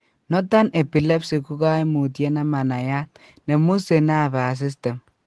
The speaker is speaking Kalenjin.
Nothern epilepsy ko kaimutyet nemanaiyat nemusee nervous system